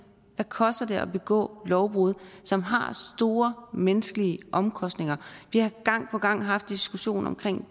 hvad koster det at begå lovbrud som har store menneskelige omkostninger vi har gang på gang haft en diskussion om